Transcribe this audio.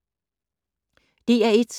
DR1